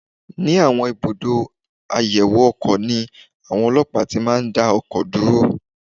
Ní àwọn ibùdó àyẹ̀wò ọkọ̀ ni àwọn ọlọ́pàá ti máa ń dá ọkọ̀ dúró